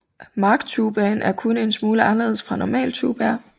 Marchtubaer er kun en smule anderledes fra normale tubaer